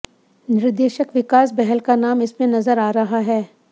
निर्देशक विकास बहल का नाम इसमें नजर आ रहा है